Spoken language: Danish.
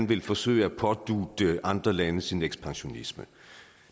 vil forsøge at pådutte andre lande sin ekspansionisme